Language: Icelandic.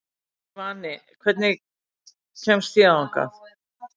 Svani, hvernig kemst ég þangað?